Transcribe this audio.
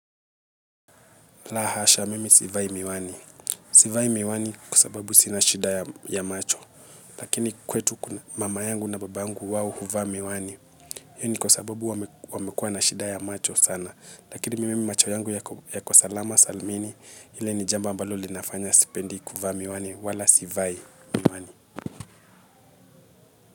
La hasha, mimi sivai miwani. Sivai miwani kwa sababu sina shida ya macho. Lakini kwetu, mama yangu na baba yangu wao huvaa miwani iyo ni kwa sababu wamekuwa na shida ya macho sana. Lakini mimi macho yangu yako salama salmini, ile ni jambo ambalo linafanya sipendi kuvaa miwani wala sivai miwani.